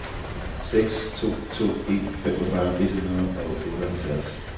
seks to to en femogfyrre et hundrede og otteoghalvtreds